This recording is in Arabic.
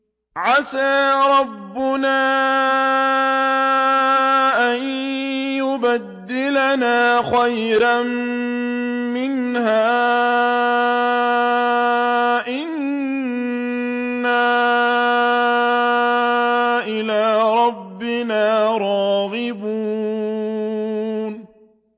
عَسَىٰ رَبُّنَا أَن يُبْدِلَنَا خَيْرًا مِّنْهَا إِنَّا إِلَىٰ رَبِّنَا رَاغِبُونَ